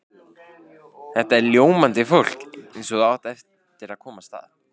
Þetta er ljómandi fólk eins og þú átt eftir að komast að.